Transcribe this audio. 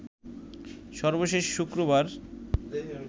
সর্বশেষ শুক্রবার